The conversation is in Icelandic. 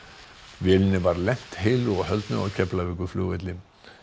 vélinni var lent heilu og höldnu á Keflavíkurflugvelli